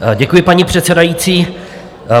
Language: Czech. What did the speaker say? Děkuji, paní předsedající.